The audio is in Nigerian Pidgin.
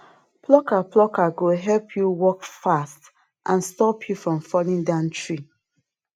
plucker plucker go help you work fast and stop you from falling down tree